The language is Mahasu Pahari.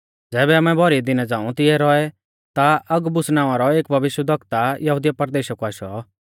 ज़ैबै आमै भौरी दिना झ़ांऊ तिऐ रौऐ ता अगबुस नावां रौ एक भविष्यवक्ता यहुदिया परदेशा कु आशौ